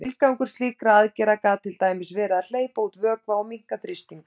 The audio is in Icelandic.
Tilgangur slíkra aðgerða gat til dæmis verið að hleypa út vökva og minnka þrýsting.